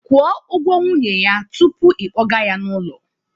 Kwuo nwunye ya tupu ị kpọga ya n'ụlọ